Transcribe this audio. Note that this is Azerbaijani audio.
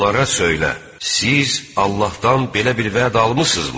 Onlara söylə: Siz Allahdan belə bir vəd almısınızmı?